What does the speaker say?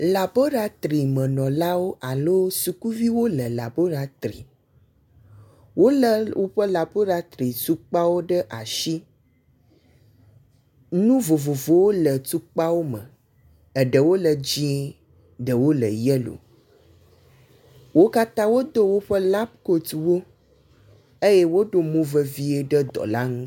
Laboratrimeɔlawo alo sukuviwo le laboratri. Wole wolé woƒe laboratri tukpawo ɖe asi. Nu vovovowo le atukpawo me, eɖewo le dzɛ̃, eɖewo le yelo. Wo katã wodo woƒe lab kotwo eye woɖo movevie le dɔ la ŋu.